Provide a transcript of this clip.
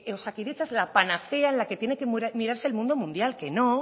osakidetza es la panacea en la que tiene que mirarse el mundo mundial que no